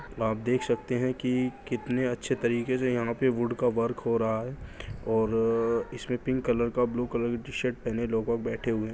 आप देख सकते हैं की कितने अच्छे तरीके से यहाँ पे वुड का वर्क हो रहा है और इसमे पिंक कलर का ब्लू कलर टी-शर्ट पहने लोग बैठे हुए --